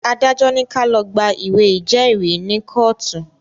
Adájọ́ ní ká lọ̀ gba ìwé ìjẹ́rìí ni kọ́ọ̀tù